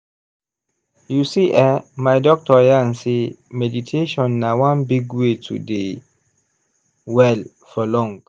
you see eh my doctor yarn sey meditation na one big way to dey well for long.